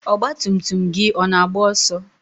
ọgba tum tum gị ọ na-agba ọsọ?